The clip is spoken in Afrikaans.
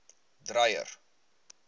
dreyer